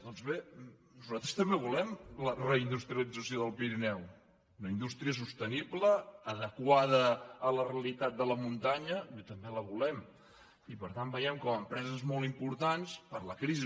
doncs bé nosaltres també volem la reindustrialització del pirineu una indústria sostenible adequada a la realitat de la muntanya bé també la volem i per tant veiem com empreses molt importants per la crisi